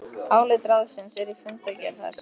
Álit ráðsins er í fundargerð þess